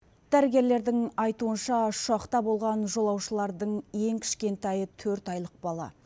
дәрігерлердің айтуынша ұшақта болған жолаушылардың ең кішкентайы төрт айлық бала